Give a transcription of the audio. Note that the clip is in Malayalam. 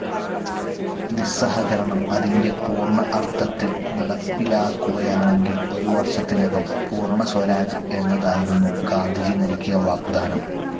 നിസ്സഹകരണം അതിൻ്റെ പൂർണ്ണ അർത്ഥത്തിൽ നടപ്പിലാക്കുകയാണെങ്കിൽ ഒരു വർഷത്തിനകം പൂർണ്ണ സ്വരാജ് എന്നതായിരുന്നു ഗാന്ധിജി നൽകിയ വാഗ്ദാനം.